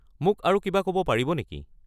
মোক আৰু কিবা ক’ব পাৰিব নেকি?